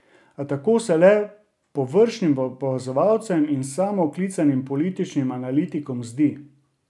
A tako se le površnim opazovalcem in samooklicanim političnim analitikom zdi.